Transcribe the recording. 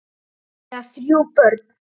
Þau eiga þrjú börn.